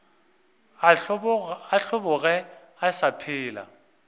a hlobogwe a sa phela